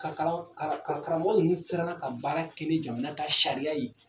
Ka karamɔgɔ ninnu siran na ka baara kɛ ni jamana ka sariya ye!